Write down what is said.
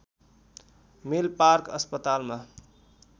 Milpark अस्पतालमा